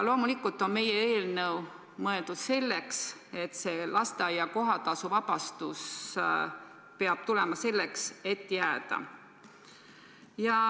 Loomulikult on meie eelnõu mõeldud selleks, et lasteaia kohatasust vabastus peab tulema selleks, et jääda.